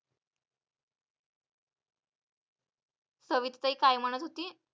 सविताताई काय म्हणत होती?